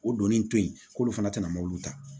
O donnin to yen k'olu fana tɛna mobili ta